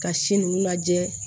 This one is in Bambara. Ka si nunnu lajɛ